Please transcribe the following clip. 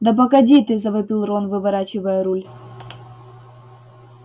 да погоди ты завопил рон выворачивая руль